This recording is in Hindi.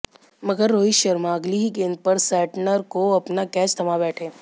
मगर रोहित शर्मा अगली ही गेंद पर सैंटनर को अपना कैच थमा बैठे